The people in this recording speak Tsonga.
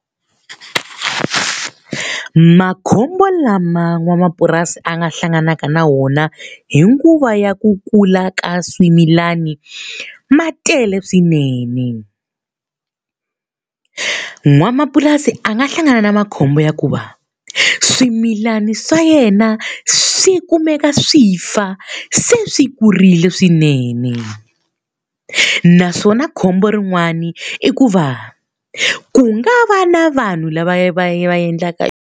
Makhombo lama n'wamapurasi a nga hlanganaka na wona hi nguva ya ku kula ka swimilani ma tele swinene. N'wamapurasi a nga hlangana na makhombo ya ku va swimilana swa yena swi kumeka swi fa se swi kurile swinene. Naswona khombo rin'wani i ku va, ku nga va na vanhu lava va va endlaka.